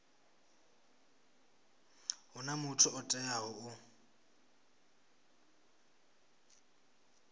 huna muthu o teaho u